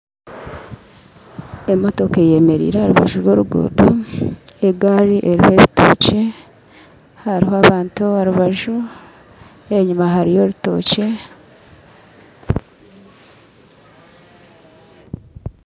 Emotoka eyemereire aharubaju rw'orugudo egari eruho ebitokye haruho abantu aharubaju enyuma hariyo orutokye .